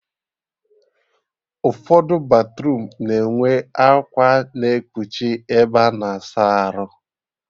Ụfọdụ batruum na-enwe akwa na-ekpuchi ebe a na-asa arụ